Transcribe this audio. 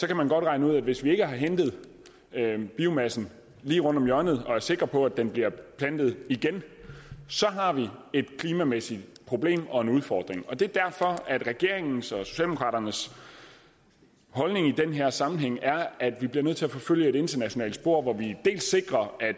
kan regne ud at hvis vi ikke har hentet biomassen lige rundt om hjørnet og er sikre på at den bliver plantet igen har vi et klimamæssigt problem og en udfordring det er derfor at regeringens og socialdemokraternes holdning i den her sammenhæng er at vi bliver nødt til at forfølge et internationalt spor hvor vi sikrer at